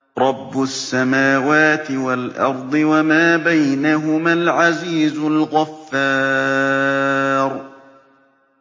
رَبُّ السَّمَاوَاتِ وَالْأَرْضِ وَمَا بَيْنَهُمَا الْعَزِيزُ الْغَفَّارُ